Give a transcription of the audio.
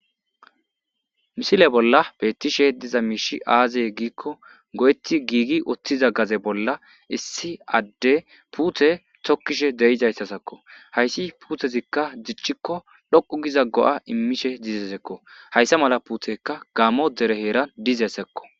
misile bolla beettishe diza miishi aaziye giikko go7etti giigi oththiza gaze bolla issi adde puute tokkishe deizayssa sakko hayssi puutezikka dichchikko loqu giza go7a immishe dizeesekko hayssa mala puteka gaamo dere heeran dizeesekko